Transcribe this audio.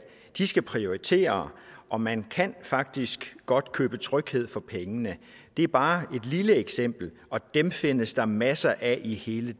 de skal prioritere og man kan faktisk godt købe tryghed for penge det er bare et lille eksempel og dem findes der masser af i hele